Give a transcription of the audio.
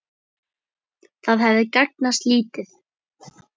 Það hefði gagnast lítið.